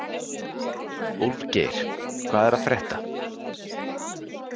Úlfgeir, hvað er að frétta?